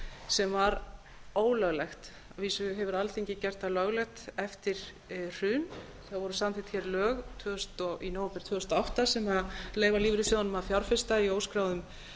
sem var ólöglegt að vísu hefur alþingi gert það löglegt eftir hrun það voru samþykkt hér lög í nóvember tvö þúsund og átta sem leyfa lífeyrissjóðunum að fjárfesta í óskráðum